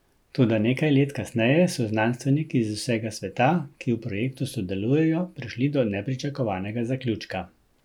Toda nekaj let kasneje so znanstveniki z vsega sveta, ki v projektu sodelujejo, prišli do nepričakovanega zaključka.